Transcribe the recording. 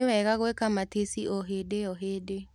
Nĩwega gwĩka matici o hĩndĩo hĩndĩ.